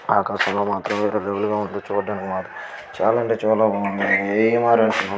ఆకాశం లో చుడానికి మాత్రం చాల అంటే చాల బాగున్నాయి --